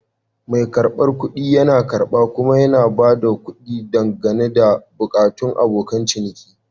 Mai karbar kuɗi yana karba kuma yana ba da kuɗi, dangane da buƙatun abokan ciniki.